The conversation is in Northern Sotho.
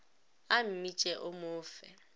a mmitše o mo fe